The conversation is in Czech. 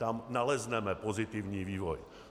Tam nalezneme pozitivní vývoj.